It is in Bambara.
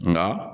Nka